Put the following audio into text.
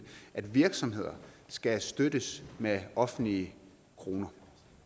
at virksomheder skal støttes med offentlige kroner